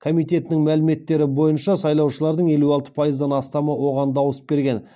комитетінің мәліметтері бойынша сайлаушылардың елу алты пайыздан астамы оған дауыс берген